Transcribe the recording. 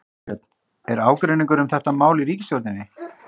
Þorbjörn: Er ágreiningur um þetta mál í ríkisstjórninni?